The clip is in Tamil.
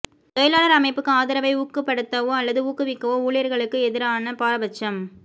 தொழிலாளர் அமைப்புக்கு ஆதரவை ஊக்கப்படுத்தவோ அல்லது ஊக்குவிக்கவோ ஊழியர்களுக்கு எதிரான பாரபட்சம்